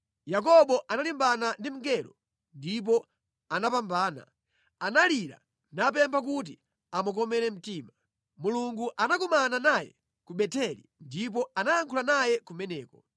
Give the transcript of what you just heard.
Yakobo analimbana ndi mngelo ndipo anapambana; analira napempha kuti amukomere mtima. Mulungu anakumana naye ku Beteli ndipo anayankhula naye kumeneko,